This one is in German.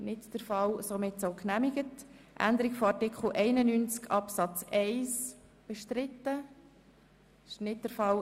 Es handelt sich um Berufsschülerinnen und Berufsschüler aus dem Detailhandel an der Postgasse, unsere unmittelbaren Nachbarn.